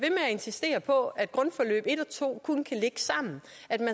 insistere på at grundforløb en og to kun kan ligge sammen